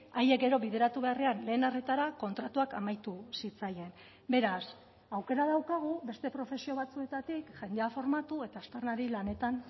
haiek gero bideratu beharrean lehen arretara kontratuak amaitu zitzaien beraz aukera daukagu beste profesio batzuetatik jendea formatu eta aztarnari lanetan